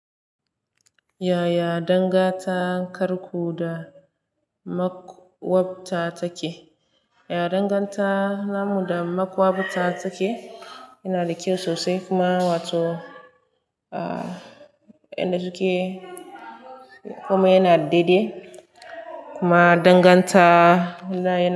Ya ya danganta karku da makwabta take? Ya danganta namu da makwabta take, yana da kyau sosai kuma wato, ah, inda suke kuma yana daidai. Kuma danganta.